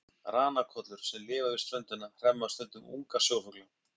ranakollur sem lifa við ströndina hremma stundum unga sjófugla